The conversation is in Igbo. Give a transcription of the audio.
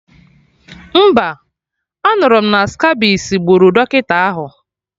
Mba, anụrụ m na skabisi gburu dọkịta ahụ